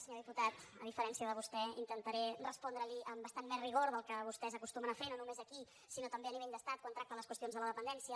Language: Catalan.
senyor diputat a diferència de vostè intentaré respondre li amb bastant més rigor del que vostès acostumen a fer no només aquí sinó també a nivell d’estat quan tracten les qüestions de la dependència